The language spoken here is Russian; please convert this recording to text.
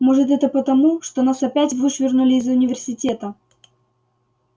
может это потому что нас опять вышвырнули из университета